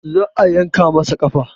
Za a yanka masa ƙafa